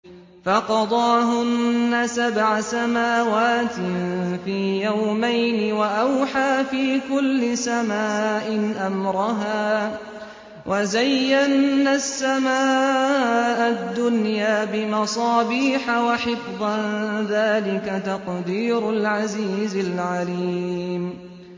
فَقَضَاهُنَّ سَبْعَ سَمَاوَاتٍ فِي يَوْمَيْنِ وَأَوْحَىٰ فِي كُلِّ سَمَاءٍ أَمْرَهَا ۚ وَزَيَّنَّا السَّمَاءَ الدُّنْيَا بِمَصَابِيحَ وَحِفْظًا ۚ ذَٰلِكَ تَقْدِيرُ الْعَزِيزِ الْعَلِيمِ